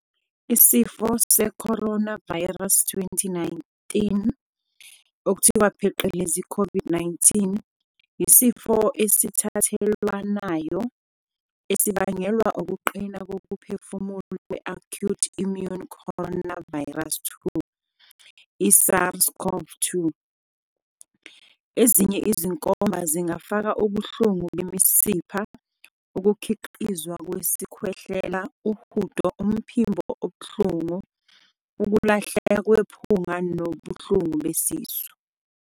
Isifo seCoronavirus 2019, COVID-19, yisifo esithathelwanayo esibangelwa ukuqina kokuphefumula kwe-acute immune coronavirus 2, SARS-CoV-2. Ezinye izinkomba zingafaka ubuhlungu bemisipha, ukukhiqizwa kwesikhwehlela, uhudo, umphimbo obuhlungu, ukulahleka kwephunga nobuhlungu besisu.